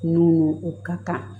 Mun o ka kan